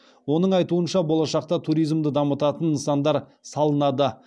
оның айтуынша болашақта туризмды дамытатын нысандар салынады